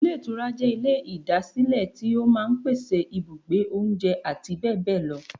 Ilé Ìtura jẹ́ Ilé ìdásílẹ̀ tí ó máa n pèsè ibùgbé, oúnjẹ àti bẹ́bẹ̀bẹ́bẹ̀ lọ